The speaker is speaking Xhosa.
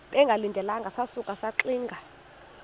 bengalindelanga sasuka saxinga